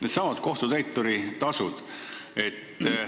Needsamad kohtutäituri tasud.